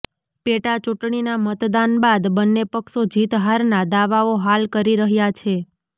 પેટા ચૂંટણીના મતદાન બાદ બંને પક્ષો જીત હારના દાવાઓ હાલ કરી રહ્યા છે